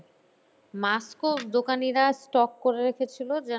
mask ও দোকানিরা stock করে রেখেছিলো যেন